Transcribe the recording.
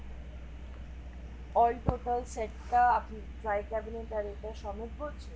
all total set টা আপনি dry cabinet সমেত বলছেন